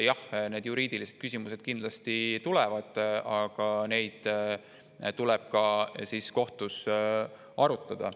Jah, need juriidilised küsimused kindlasti tulevad, aga neid tuleb ka kohtus arutada.